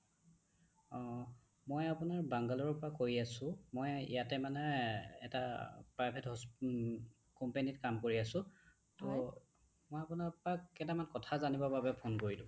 অহ্ মই আপোনাৰ বাংগালোৰৰ পৰা কৈ আছো মই ইযাতে মানে এটা private হ্চ উম companyত কাম কৰি আছো ত মই আপোনাৰ পৰা কেটামান কথা জানিবৰ কাৰণে ফোন কৰিলো